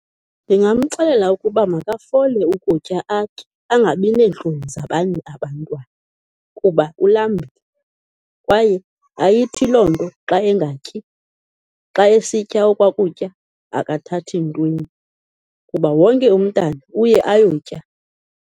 Ndingamxelela ukuba makafole ukutya atye, angabi neentloni zabanye abantwana kuba ulambile, kwaye ayithi loo nto xa engatyi, xa esitya okwa kutya akathathi ntweni kuba wonke umntwana uye ayotya.